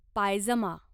पायजमा